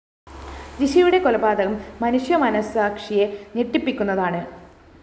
ജിഷയുടെ കൊലപാതകം മനുഷ്യമനഃസാക്ഷിയെ ഞെട്ടിപ്പിക്കുന്നതാണ്